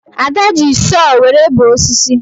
Ada ji sọọ were bee osisi